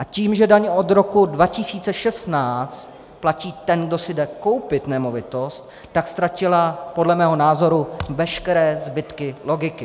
A tím, že daň od roku 2016 platí ten, kdo si jde koupit nemovitost, tak ztratila podle mého názoru veškeré zbytky logiky.